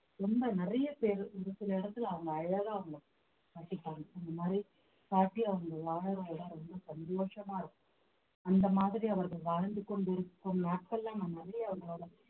ரொம்ப நிறைய பேரு ஒரு சில இடத்துல அவங்க அழகா அவங்களை காட்டிப்பாங்க அந்த மாதிரி காட்டி அவங்க வாழற இடம் ரொம்ப சந்தோஷமா இருக்கும் அந்த மாதிரி அவர்கள் வாழ்ந்து கொண்டிருக்கும் நாட்கள்ல நான் நிறைய அவங்களோட